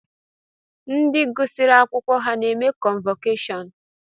Ndi gụsiri akwụkwọ ha na-eme kọnvọkashọnụ?